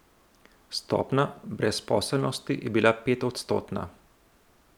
Stopnja brezposelnosti je bila petodstotna.